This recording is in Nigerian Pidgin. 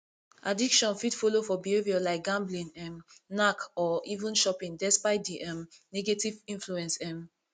addiction fit follow for behaviour like gambling um knack or even shopping despite di um negative influence um